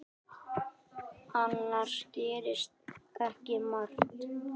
Annars gerðist ekki margt.